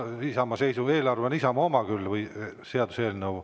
Seaduseelnõu on Isamaa oma küll.